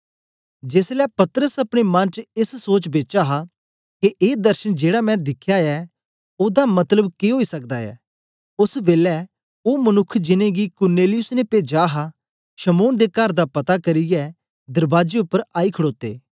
जेसलै पतरस अपने मन च एस सोच बेच हा के ए दर्शन जेड़ा मैं दिखया ऐ ओदा मतलब के ओई सकदा ऐ ओस बेलै ओ मनुक्ख जिनेंगी कुरनेलियुस ने पेजा हा शमौन दे कर दा पता करियै दरबाजे उपर आई खड़ोते